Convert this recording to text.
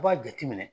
I b'a jateminɛ